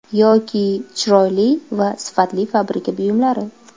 Yoki chiroyli va sifatli fabrika buyumlari.